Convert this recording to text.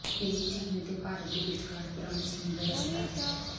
ਇਹ ਚੀਨ ਅਤੇ ਭਾਰਤ ਦੇ ਵਿਚਕਾਰ ਪੁਰਾਣੀ ਸਮੁੰਦਰ ਰਸਤਾ ਹੈ